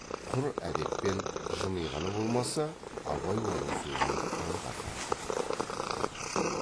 құр әдеппен жымиғаны болмаса абай оның сөзін аңғарған жоқ